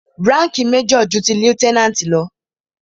Ránkìì major ju ti lieutenant lọ.